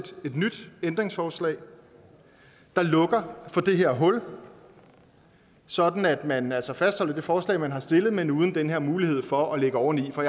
et nyt ændringsforslag der lukker for det her hul sådan at man altså fastholder det forslag man har stillet men uden den her mulighed for at lægge oveni for